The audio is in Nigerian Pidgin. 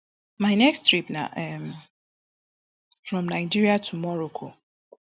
my next trip na um from nigeria to morocco